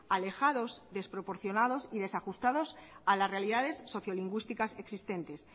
alejados desproporcionados y desajustados a las realidades sociolingüísticas existentes